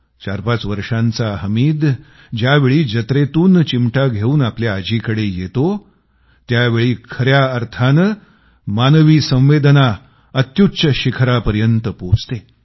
45 वर्षांचा हामिद ज्यावेळी जत्रेतून चिमटा घेवून आपल्या आजीकडे येतो त्यावेळी खऱ्या अर्थाने मानवी संवेदना अत्युच्च शिखरापर्यंत पोहोचते